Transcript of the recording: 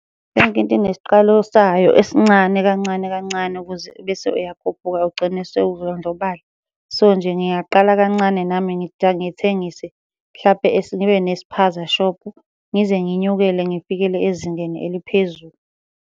Yonke into inesiqalo sayo esincane kancane kancane ukuze bese uyakhuphuka ugcine sewudlondlobala. So, nje ngingaqala kancane nami ngithengise mhlampe ngibe nesipaza shophu, ngize nginyukele ngifikele ezingeni eliphezulu.